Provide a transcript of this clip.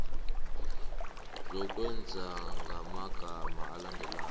ngokwengeza ngamagama alandelako